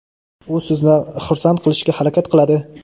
u sizni xursand qilishga harakat qiladi.